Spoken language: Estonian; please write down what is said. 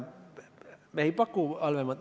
Me ei paku halvemat valikut.